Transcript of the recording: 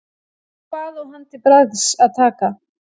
Hvað á hann til bragðs að taka?